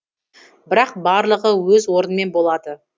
бірақ барлығы өз орнымен болады